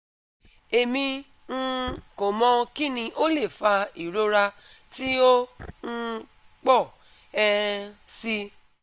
Emi um ko mọ kini o le fa irora ti o um pọ um si